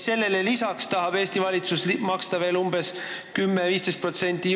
Sellele lisaks tahab Eesti valitsus maksta Euroopa Liidule senisega võrreldes veel 10–15% rohkem.